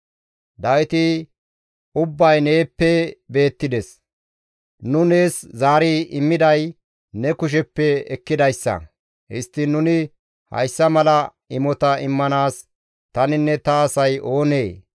Dawiti, «Ubbay neeppe beettides; nu nees zaari immiday ne kusheppe ekkidayssa; histtiin nuni hayssa mala imota immanaas taninne ta asay oonee?